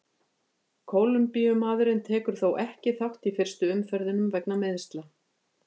Kólumbíumaðurinn tekur þó ekki þátt í fyrstu umferðunum vegna meiðsla.